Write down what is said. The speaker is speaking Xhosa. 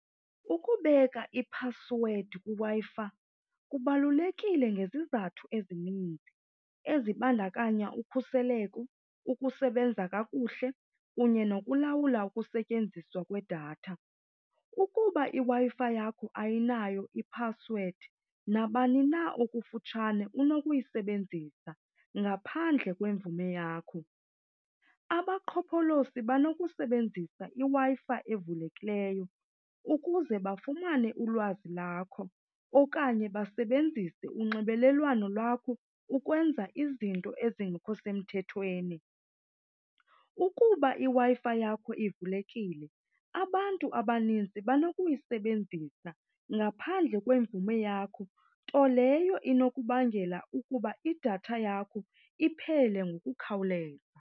Ukubeka iphasiwedi kwiWi-Fi kubalulekile ngezizathu ezininzi ezibandakanya ukhuseleko, ukusebenza kakuhle kunye nokulawula ukusetyenziswa kwedatha. Ukuba iWi-Fi yakho ayinayo iphasiwedi nabani na okufutshane unokuyisebenzisa ngaphandle kwemvume yakho. Abaqhopholoshi banokusebenzisa iWi-Fi evulekileyo ukuze bafumane ulwazi lakho okanye basebenzise unxibelelwano lwakho ukwenza izinto ezingekho semthethweni. Ukuba iWi-Fi yakho ivulekile abantu abanintsi banokuyisebenzisa ngaphandle kwemvume yakho, nto leyo inokubangela ukuba idatha yakho iphele ngokukhawuleza.